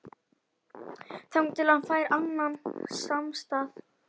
Þangað til hann fær annan samastað